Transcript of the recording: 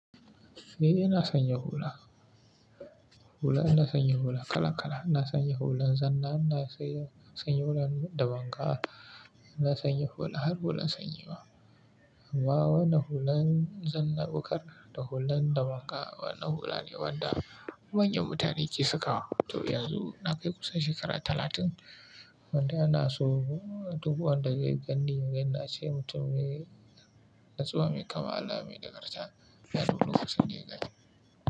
Eh ina sanye hula. Hula ina sanye hula kala kala. Ina sanye hulan zanna, ina sanye hulan damanga, ina sanye hula har hulan sanyi ma. Amma wannan hulan zanna bukkar da hulan damanga, wannan hula ne wanda manyan mutane ke sakawa. To yanzu na kai kusan shekara talatin, wanda ana so doguwa daga gani, yana ce mutum ne, mai natsuwa mai kamala mai nagarta, a duk lokacin daya ganni.